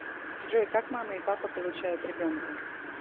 джой как мама и папа получают ребенка